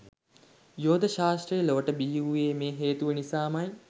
යෝග ශාස්ත්‍රය ලොවට බිහිවූයේ මේ හේතුව නිසාමයි.